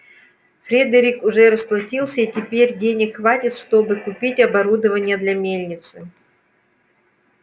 фредерик уже расплатился и теперь денег хватит чтобы купить оборудование для мельницы